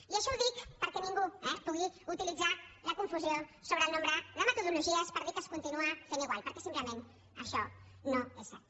i això ho dic perquè ningú pugui utilitzar la confusió sobre el nombre de metodologies per dir que es continua fent igual perquè simplement això no és cert